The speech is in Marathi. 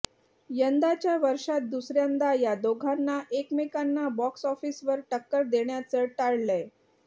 यंदाच्या वर्षात दुसऱ्यांदा या दोघांना एकमेकांना बॉक्सऑफिसवर टक्कर देण्याचं टाळलंय